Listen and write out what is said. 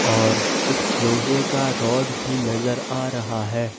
और एक लोहे का रॉड भी नजर आ रहा है।